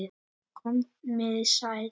Komiði sæl!